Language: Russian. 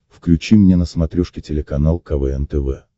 включи мне на смотрешке телеканал квн тв